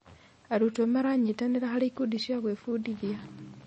Arutwo maranyitanĩra harĩ ikundi cia gwĩbundithia.